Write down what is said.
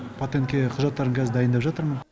патентке құжаттарымды қазір дайындап жатырмын